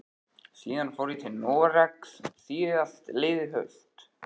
Síðan fór ég til Noregs síðastliðið haust.